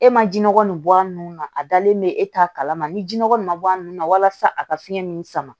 E ma jinɔgɔ nin bɔ a nun na a dalen be e ta kalama ni ji nɔgɔ in ma bɔ a nun na walasa a ka fiɲɛ min sama